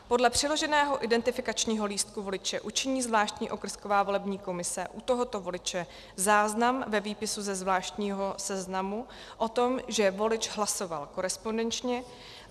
Podle přiloženého identifikačního lístku voliče učiní zvláštní okrsková volební komise u tohoto voliče záznam ve výpisu ze zvláštního seznamu o tom, že volič hlasoval korespondenčně.